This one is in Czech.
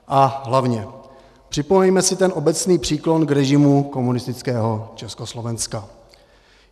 A hlavně, připomeňme si ten obecný příklon k režimu komunistického Československa.